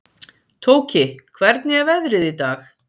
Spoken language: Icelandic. Tóki, hvernig er veðrið í dag?